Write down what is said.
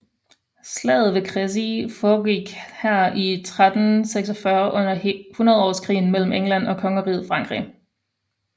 Slaget ved Crecy foregik her i 1346 under hundredårskrigen mellem England og Kongeriget Frankrig